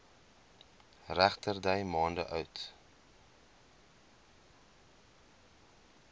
regterdy maande oud